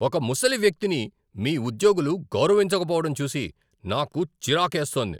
ఒక ముసలి వ్యక్తిని మీ ఉద్యోగులు గౌరవించకపోవడం చూసి నాకు చిరాకేస్తోంది.